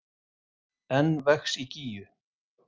Enn vex í Gígju